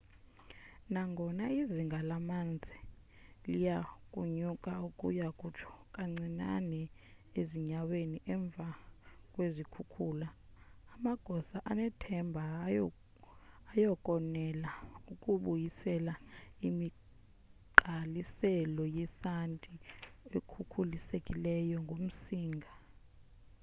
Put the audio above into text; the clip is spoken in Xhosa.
nangona izinga lamanzi liyakunyuka ukuya kutsho kancinane ezinyaweni emva kwezikhukhula amagosa anethemba ayakonela ukubuyisela imigqaliselo yesanti ekhukhulisekileyo ngumsinga